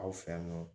Aw fɛ yan nɔ